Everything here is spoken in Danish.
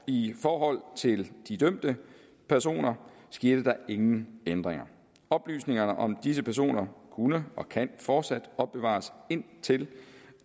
i forhold til de dømte personer skete der ingen ændringer oplysningerne om disse personer kunne og kan fortsat opbevares indtil